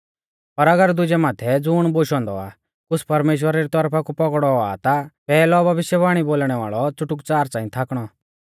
पर अगर दुजै माथै ज़ुण बोशौ औन्दौ आ कुछ़ परमेश्‍वरा री तौरफा कु पौगड़ौ औआ ता पैहलौ भविष्यवाणी बोलणै वाल़ौ च़ुटुकच़ार च़ांई थाकणौ